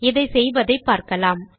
இதை செய்வதை பார்க்கலாம்